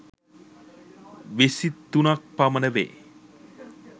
විසි තුනක් පමණ වේ.